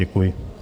Děkuji.